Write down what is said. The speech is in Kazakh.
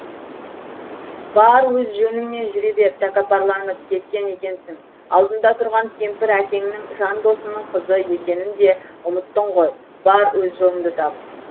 бар өз жөніңмен жүре бер тәкаппарланып кеткен екенсің алдыңда тұрған кемпір әкеңнің жан досының қызы екенін де ұмыттың ғой бар өз жолыңды тап